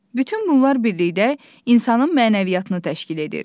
Bütün bunlar birlikdə insanın mənəviyyatını təşkil edir.